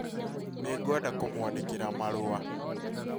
Nĩngwenda kũmwandĩkĩra marũa